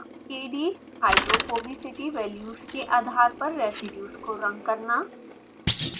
kdhydrophobicity values के आदर पर रेसीड्यूज़ को रंग करना